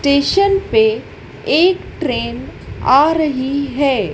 Station पे एक train आ रही है।